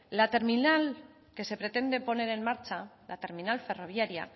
la terminal que se pretende poner en marcha